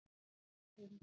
Jórunn